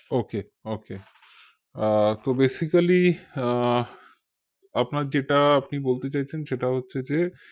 okay okay আহ তো basically আহ আপনার যেটা আপনি বলতে চাইছেন সেটা হচ্ছে যে